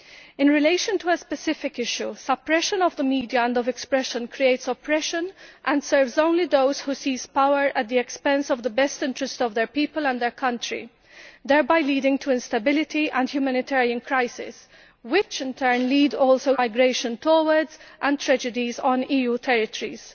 In relation to a specific issue, suppression of the media and of expression creates oppression and serves only those who seize power at the expense of the best interests of their people and their country, thereby leading to instability and humanitarian crises which, in turn, lead also to migration towards and tragedies on EU territories.